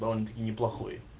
довольно таки неплохой